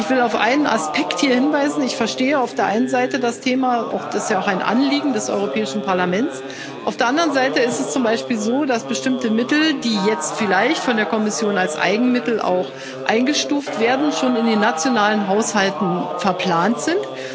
Ich will hier auf einen Aspekt hinweisen Ich verstehe auf der einen Seite das Thema, es ist ja auch ein Anliegen des Europäischen Parlaments. Auf der anderen Seite ist es zum Beispiel so, dass bestimmte Mittel, die jetzt vielleicht von der Kommission als Eigenmittel eingestuft werden, schon in den nationalen Haushalten verplant sind.